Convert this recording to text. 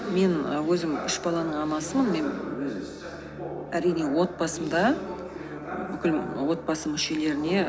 мен өзім үш баланың анасымын мен әрине отбасымда бүкіл отбасы мүшелеріне